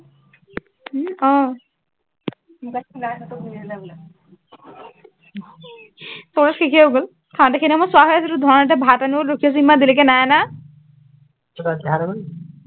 সৱ শেষেই হৈ গল, চাওঁতে সেইখিনি সময়ত হৈ আছিলো, ধনহঁতে ভাত আনিবলৈ ৰখি আছো, ইমান দেৰিলৈকে নাই অনা।